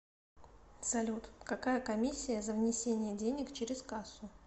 салют какая комиссия за внесение денег через кассу